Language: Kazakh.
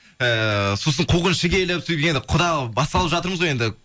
ыыы сосын қуғыншы келіп сөйтіп енді құдалық басталып жатырмыз ғой енді